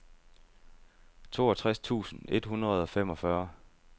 toogtres tusind et hundrede og femogfyrre